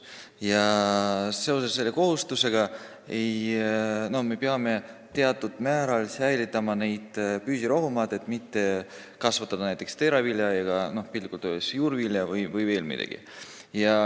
Ja selle kohustuse tõttu me peame teatud määral säilitama püsirohumaid, mitte kasvatama seal näiteks teravilja, juurvilja vms.